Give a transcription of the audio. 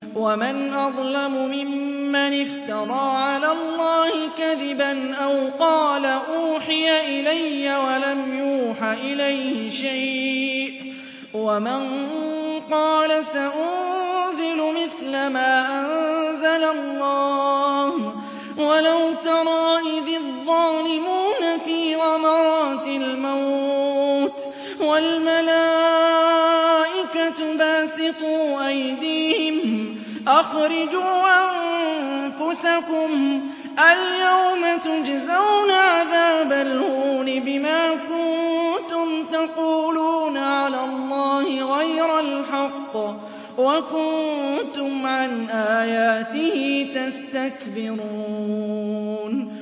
وَمَنْ أَظْلَمُ مِمَّنِ افْتَرَىٰ عَلَى اللَّهِ كَذِبًا أَوْ قَالَ أُوحِيَ إِلَيَّ وَلَمْ يُوحَ إِلَيْهِ شَيْءٌ وَمَن قَالَ سَأُنزِلُ مِثْلَ مَا أَنزَلَ اللَّهُ ۗ وَلَوْ تَرَىٰ إِذِ الظَّالِمُونَ فِي غَمَرَاتِ الْمَوْتِ وَالْمَلَائِكَةُ بَاسِطُو أَيْدِيهِمْ أَخْرِجُوا أَنفُسَكُمُ ۖ الْيَوْمَ تُجْزَوْنَ عَذَابَ الْهُونِ بِمَا كُنتُمْ تَقُولُونَ عَلَى اللَّهِ غَيْرَ الْحَقِّ وَكُنتُمْ عَنْ آيَاتِهِ تَسْتَكْبِرُونَ